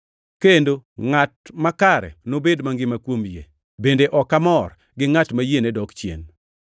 Kendo “ngʼata makare nobed mangima kuom yie. Bende ok amor, gi ngʼat ma yiene dok chien.” + 10:38 \+xt Hab 2:3,4\+xt*